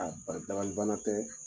ba dabali bana tɛ